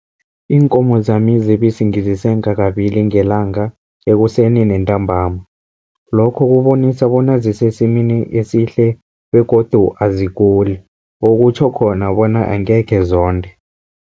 Iinkomo zami zebisi ngizisenga kabili ngelanga, ekuseni nantambama. Lokho kubonisa bona zisesimeni esihle begodu aziguli, okutjho khona bona angekhe zonde.